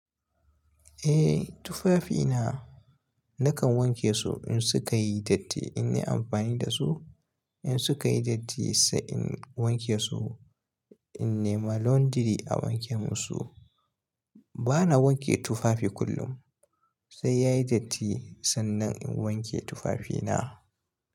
Eh tufafina nakan wanke su in sukayi datti in yi amfani dasu. In sukayi datti sai in wanke su, in nema laundry a wanke musu. Bana wanke tufafi kullum, sai yayi datti sannan in wanke tufafina.